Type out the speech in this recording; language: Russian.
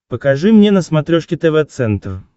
покажи мне на смотрешке тв центр